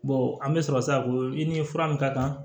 an bɛ sɔrɔ sisan ko i ni fura min ka kan